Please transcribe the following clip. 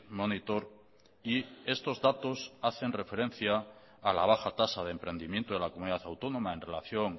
monitor y estos datos hacen referencia a la baja tasa de emprendimiento de la comunidad autónoma en relación